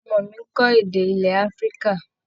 Ọmọ mi ń kọ́ èdè ilẹ̀ Afrika.